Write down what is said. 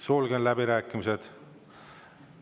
Sulgen läbirääkimised.